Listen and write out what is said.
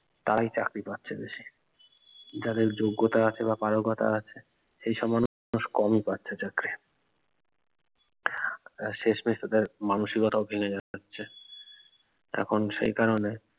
তারাই চাকরি পাচ্ছে বেশি যাদের যোগ্যতা আছে বা পারকতা আছে সেই সব মানুষ কমই পাচ্ছে চাকরি আহ শেষ মেষ তাদের মানসিকতা ও ভেঙে যাচ্ছে এখন সেই কারনে